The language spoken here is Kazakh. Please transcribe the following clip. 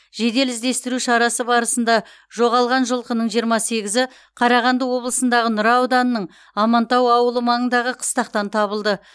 жедел іздестіру шарасы барысында жоғалған жылқының жиырма сегізі қарағанды облысындағы нұра ауданының амантау ауылы маңындағы қыстақтан табылды